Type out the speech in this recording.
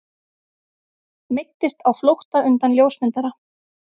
Meiddist á flótta undan ljósmyndara